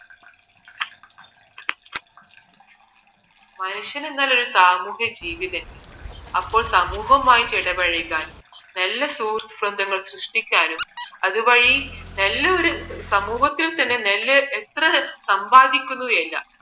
മനുഷ്യന് എന്നാൽ ഒരു സാമൂഹ്യ ജീവി തന്നെയാണ് അപ്പോൾ സമൂഹമായിട്ട് ഇടപഴകാനും നല്ല സുഹൃത്ത് ബന്ധങ്ങൾ സൃഷ്ടിക്കാനും അതുവഴി നല്ലൊരു സമൂഹത്തില് തന്നെ നല്ലൊരു എത്ര സമ്പാദിക്കുന്നു അല്ല